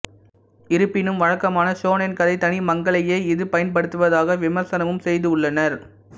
இருப்பினும் வழக்கமான ஷோனென் கதை தனிமங்களையே இது பயன்படுத்துவதாக விமர்சனமும் செய்துள்ளனர்